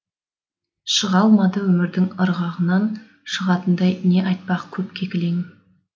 шыға алмады өмірдің ырығынан шығатындай не айтпақ көпке кілең